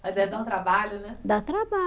Mas aí dá um trabalho, né? Dá